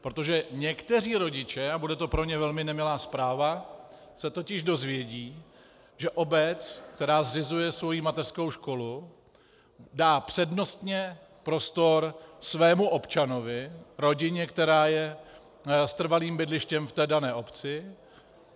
Protože někteří rodiče, a bude to pro ně velmi nemilá zpráva, se totiž dozvědí, že obec, která zřizuje svoji mateřskou školu, dá přednostně prostor svému občanovi, rodině, která je s trvalým bydlištěm v dané obci.